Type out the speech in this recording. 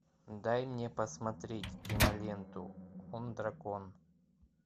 дай мне посмотреть киноленту он дракон